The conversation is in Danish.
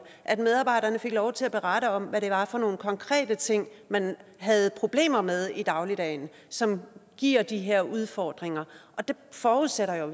at medarbejderne fik lov til at berette om hvad det var for nogle konkrete ting man havde problemer med i dagligdagen som giver de her udfordringer og det forudsætter jo